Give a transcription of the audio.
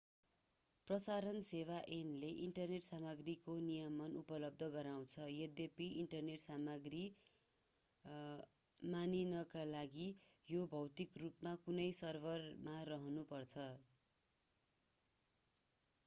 प्रसारण सेवा ऐनले इन्टरनेट सामग्रीको नियमन उपलब्ध गराउँछ यद्यपि इन्टरनेट सामग्री मानिनका लागि यो भौतिक रूपमा कुनै सर्भरमा रहनुपर्छ